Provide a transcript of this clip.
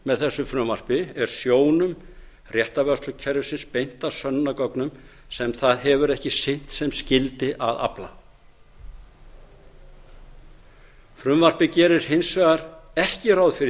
með þessu frumvarpi er sjónum réttarvörslukerfisins beint að sönnunargögnum sem það hefur ekki sinnt sem skyldi að afla frumvarpið gerir hins vegar ekki ráð fyrir